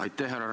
Aitäh!